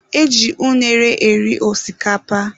E ji unere eri osikapa.